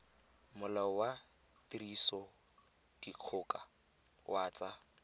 molao wa tirisodikgoka wa tsa